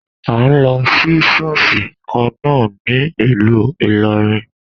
A n lọ sí ṣọ́ọ̀ṣì kan na a ní ìlú ìlorin.